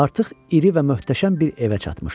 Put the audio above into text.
Artıq iri və möhtəşəm bir evə çatmışdıq.